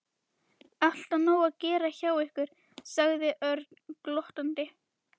Alltaf nóg að gera hjá ykkur sagði Örn glottandi.